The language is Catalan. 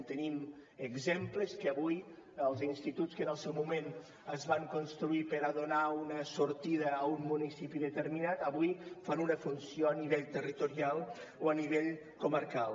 en tenim exemples que avui els instituts que en el seu moment es van construir per a donar una sortida a un municipi determinat avui fan una funció a nivell territorial o a nivell comarcal